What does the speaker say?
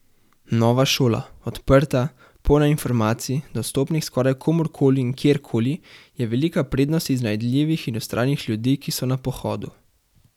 Nova šola, odprta, polna informacij, dostopnih skoraj komurkoli in kjerkoli, je velika prednost iznajdljivih in vztrajnih ljudi, ki so na pohodu.